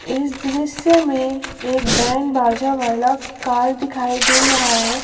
इस दृश्य में एक बैंड बाजा वाला कार दिखाई दे रहा है।